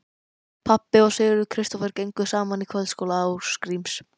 Pabbi og Sigurður Kristófer gengu saman í kvöldskóla Ásgríms